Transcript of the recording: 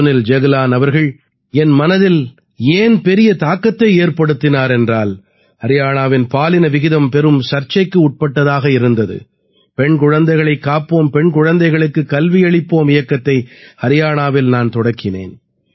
சுனில் ஜக்லான் அவர்கள் என் மனதில் ஏன் பெரிய தாக்கத்தை ஏற்படுத்தினார் என்றால் ஹரியாணாவின் பாலின விகிதம் பெரும் சர்ச்சைக்குட்பட்டதாக இருந்தது பெண் குழந்தைகளைக் காப்போம்பெண் குழந்தைகளுக்குக் கல்வியளிப்போம் இயக்கத்தை ஹரியாணாவில் நான் தொடக்கினேன்